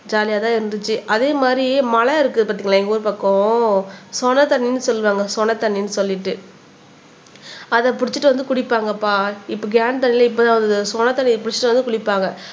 ஜாலியா தான் இருந்துச்சு அதே மாதிரி மலைஇருக்கு பாத்தீங்களா எங்க ஊரு பக்கம் சொன தண்ணின்னு சொல்லுவாங்க சொன தண்ணின்னு சொல்லிட்டு அத புடிச்சிட்டு வந்து குடிப்பாங்கப்பா இப்ப கேன் தண்ணி எல்லாம் இப்பதான் வந்தது சொனத்தண்ணிய புடிச்சிட்டு வந்து குளிப்பாங்க